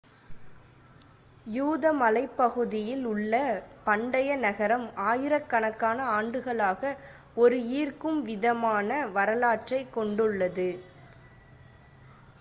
யூத மலைப்பகுதியில் உள்ள பண்டைய நகரம் ஆயிரக்கணக்கான ஆண்டுகளாக ஒரு ஈர்க்கும் விதமான வரலாற்றைக் கொண்டுள்ளது